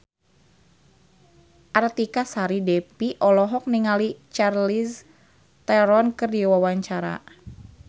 Artika Sari Devi olohok ningali Charlize Theron keur diwawancara